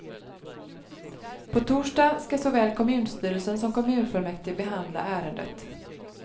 På torsdag skall såväl kommunstyrelsen som kommunfullmäktige behandla ärendet.